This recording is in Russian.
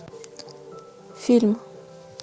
фильм